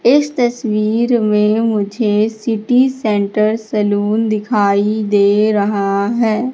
इस तस्वीर में मुझे सिटी सेंटर सैलून दिखाई दे रहा है।